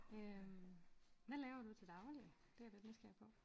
Øhm hvad laver du til daglig? Det er jeg da nysgerrig på